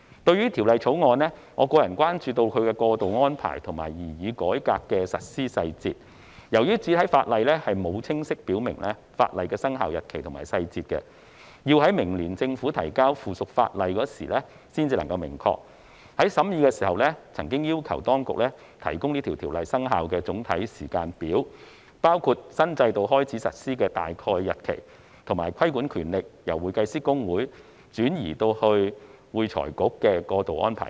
對於《條例草案》，我關注其過渡安排及擬議改革的實施細節，由於主體法例沒有清晰表明法例的生效日期及細節，要待明年政府提交附屬法例時才能明確，在審議時，委員曾經要求當局提供條例生效的總體時間表，包括新制度開始實施的大概日期，以及規管權力由會計師公會轉移至會財局的過渡安排等。